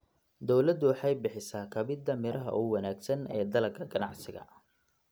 Dawladdu waxay bixisa kabida miraha ugu wanaagsan ee dalagga ganacsiga.